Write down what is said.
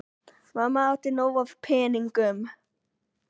Mamma átti nóg af peningum.